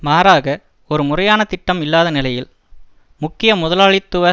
மாறாக ஒரு முறையான திட்டம் இல்லாத நிலையில் முக்கிய முதலாளித்துவ